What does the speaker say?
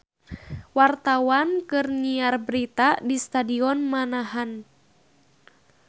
Wartawan keur nyiar berita di Stadion Manahan